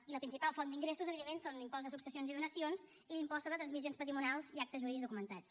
i la principal font d’ingressos evidentment són l’impost de successions i donacions i l’impost sobre transmissions patrimonials i actes jurídics documentats